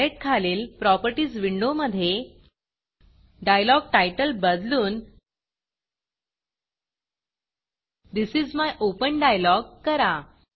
palette खालील properties विंडोमधे डायलॉग्टीतले बदलून this is my open dialog करा